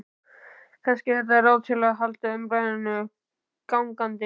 Kannski er þetta ráð til að halda umræðunni gangandi.